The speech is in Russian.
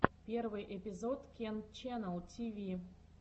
первый эпизод кент ченнал тиви